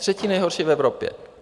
Třetí nejhorší v Evropě!